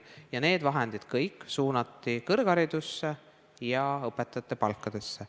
Ja kõik need vahendid suunati kõrgharidusse ja õpetajate palkadesse.